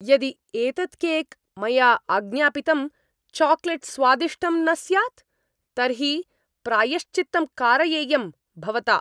यदि एतत् केक् मया आज्ञापितं चाकलेट् स्वादिष्टं न स्यात्, तर्हि प्रायश्चित्तं कारयेयं भवता!